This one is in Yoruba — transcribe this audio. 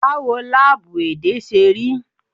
Báwo láábú èdè ṣe rí?